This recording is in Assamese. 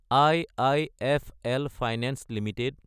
IIFL finance Ltd